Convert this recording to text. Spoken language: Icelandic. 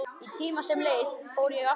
Í tíma sem leið fór ég aftur.